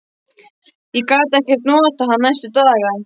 Ég gat ekkert notað hann næstu daga.